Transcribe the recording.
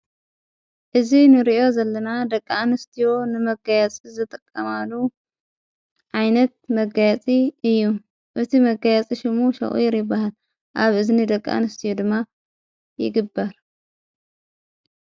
እዚ ንርእዮ ዘለና ደቂኣንስትዮ ንመጋየፂ ዝጥቀማሉ ዓይነት መጋየፂ እዩ እቲ መጋያፂ ሽሙ ሻቁር ይበሃል ኣብ እዝኒ ደቂኣንስትዩ ድማ ይግበር።